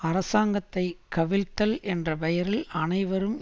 அரசாங்கத்தை கவிழ்த்தல் என்ற பெயரில் அனைவரும்